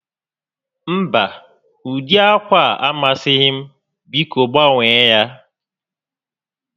Mba, ụdị ákwà a amasighị m, biko gbanwee ya